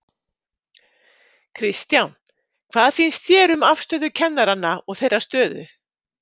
Kristján: Hvað finnst þér um afstöðu kennaranna og þeirra stöðu?